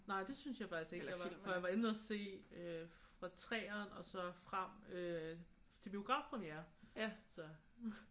Nej det synes jeg faktisk ikke jeg var. For jeg var inde og se øh fra 3'eren og så frem til biografpremiere så